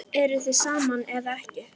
Eruð þið saman eða ekki?